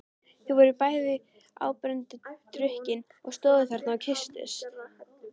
Þau voru bæði áberandi drukkin og stóðu þarna og kysstust.